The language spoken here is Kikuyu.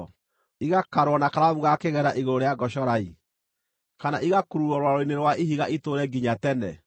igakarwo na karamu ga kĩgera igũrũ rĩa ngocorai, kana igakururwo rwaro-inĩ rwa ihiga itũũre nginya tene!